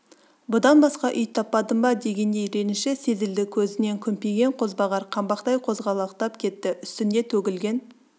бұдан басқа үй таппадың ба дегендей реніші сезілді көзінен күмпиген қозбағар қаңбақтай қозғалақтап кетті үстінде төгілген